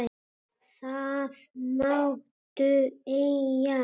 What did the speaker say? Það máttu eiga.